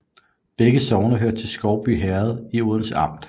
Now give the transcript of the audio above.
Begge sogne hørte til Skovby Herred i Odense Amt